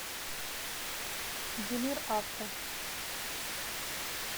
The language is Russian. димир авто